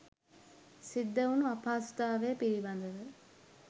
සිද්ධ වුන අපහසුතාවය පිළිබඳව.